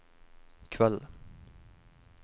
kveld